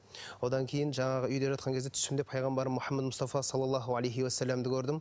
одан кейін жаңағы үйде жатқан кезде түсімде пайғамбарым мұхаммед мұстафа салаллаху алейхи уассаламды көрдім